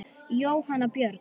Jóhanna Björg.